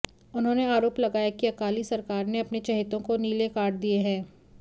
उन्होंने आरोप लगाया कि अकाली सरकार ने अपने चहेतों को नीले कार्ड दिए हैं